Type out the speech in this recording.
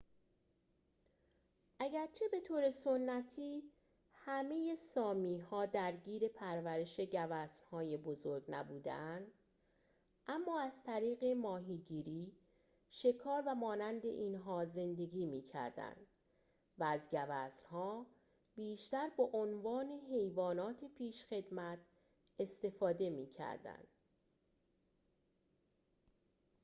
اگرچه به طور سنتی همه سامی‌ها درگیر پرورش گوزن‌های بزرگ نبوده‌اند اما از طریق ماهیگیری شکار و مانند اینها زندگی می کردند و از گوزنها بیشتر به عنوان حیوانات پیشخدمت استفاده می کردند